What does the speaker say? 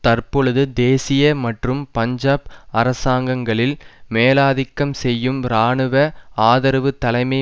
தற்பொழுது தேசிய மற்றும் பஞ்சாப் அரசாங்கங்களில் மேலாதிக்கம் செய்யும் இராணுவ ஆதரவு தலைமை